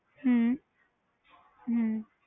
ਹਮ ਹਮ